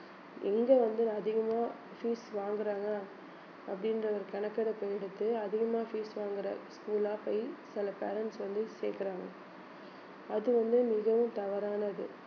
எங்க வந்து அதிகமா fees வாங்கறாங்க அப்படின்ற ஒரு கணக்கெடுப்பு எடுத்து அதிகமா fees வாங்குற school ஆ போய் சில parents வந்து சேர்க்கறாங்க அது வந்து மிகவும் தவறானது